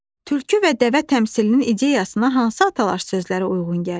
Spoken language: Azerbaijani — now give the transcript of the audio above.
Tülkü və Dəvə təmsilinin ideyasına hansı atalar sözləri uyğun gəlir?